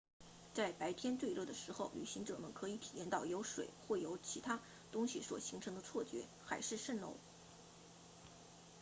在白天最热的时候旅行者们可以体验到由水或其他东西所形成的错觉海市蜃楼